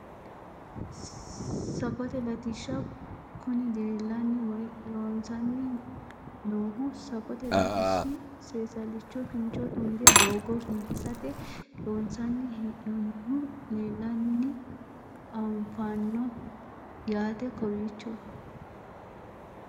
Safote latishsha kuni leellanni woyi loosamanni noohu safote latishshi seesallicho kincho tunge doogo biifisate loonsanni hee'noonnihu leellanni afanno yaate kowiicho